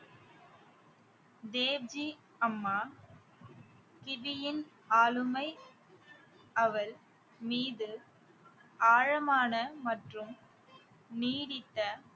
Dave G அம்மா ஆளுமை அவள் மீது ஆழமான மற்றும் நீடித்த